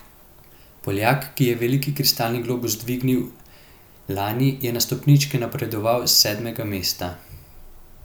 Poljak, ki je veliki kristalni globus dvignil lani, je na stopničke napredoval s sedmega mesta.